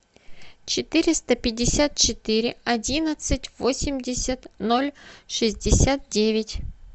четыреста пятьдесят четыре одиннадцать восемьдесят ноль шестьдесят девять